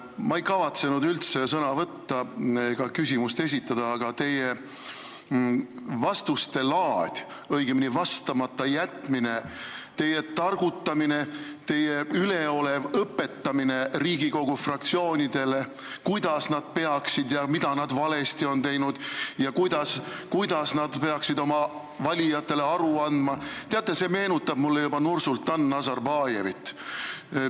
Ma ei kavatsenud üldse sõna võtta ega küsimust esitada, aga teie vastuste laad, õigemini vastamata jätmine, teie targutamine, teie üleolev Riigikogu fraktsioonide õpetamine, mida nad valesti on teinud ja kuidas nad peaksid oma valijatele aru andma – teate, see meenutab mulle juba Nursultan Nazarbajevit.